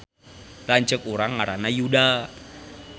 Lanceuk urang ngaranna Yuda